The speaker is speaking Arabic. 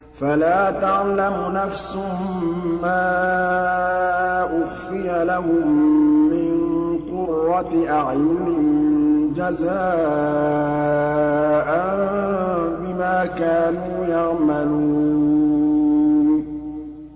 فَلَا تَعْلَمُ نَفْسٌ مَّا أُخْفِيَ لَهُم مِّن قُرَّةِ أَعْيُنٍ جَزَاءً بِمَا كَانُوا يَعْمَلُونَ